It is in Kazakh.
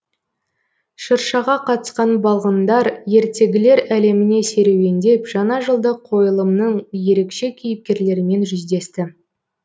шыршаға қатысқан балғындар ертегілер әлеміне серуендеп жаңажылдық қойылымның ерекше кейіпкерлерімен жүздесті